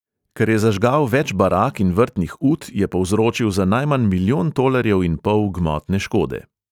Ker je zažgal več barak in vrtnih ut, je povzročil za najmanj milijon tolarjev in pol gmotne škode.